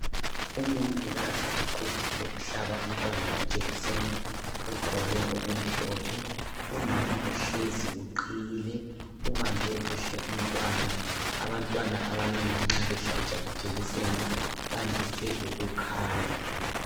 Umongikazi uquthile uhlaba umntwana ijekiseni, ugqoke okumhlophe. Umama uhlezi uqhiyile, ubambe kuhle umntwana. Abantwana abanengi nxa behlatshwa ijekiseni bandise ukukhala.